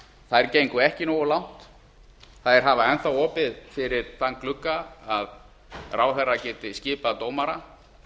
þær gengu ekki nógu langt þær hafa enn þá opið fyrir þann glugga að ráðherra geti skipað dómara